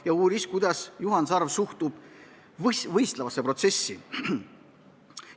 Ka uuris ta, kuidas Juhan Sarv suhtub võistlevasse protsessi.